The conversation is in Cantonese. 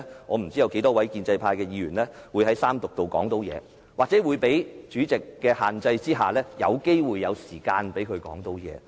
我不知道稍後有多少建制派議員可以在三讀階段發言，又或在主席的限制之下，是否有時間讓他們發言。